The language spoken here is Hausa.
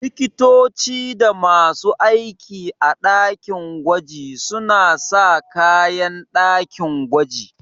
Likitoci da masu aiki a ɗakin gwaji suna sa kayan ɗakin gwaji.